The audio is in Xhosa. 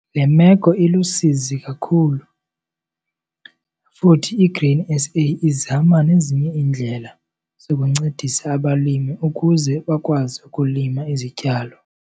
Le meko ilusizi kakhulu futhi iGrain SA izama nezinye iindlela zokuncedisa abalimi ukuze bakwazi ukulima izityalo.